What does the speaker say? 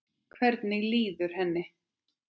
Hvernig líður henni?